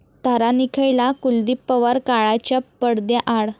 तारा निखळला, कुलदीप पवार काळाच्या पडद्याआड